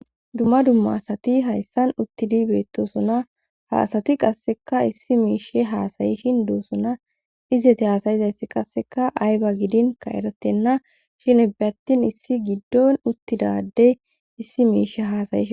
Dumma dumma asati hayssan uttidi beettosuna ha asati qasseka issi miishe haasayishin duusuna izete haasayizayssi qasseka ayba gidin ka erottenna shinebe attin issi giddon uttidadey issi miishe haasayshin.